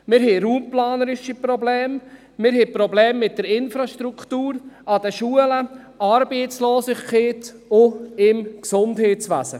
Wir haben raumplanerische Probleme und Probleme mit der Infrastruktur der Schulen, Arbeitslosigkeit und Probleme im Gesundheitswesen.